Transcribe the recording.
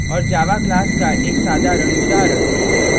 और java class का एक साधारण उदाहरण